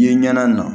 I ye ɲɛna na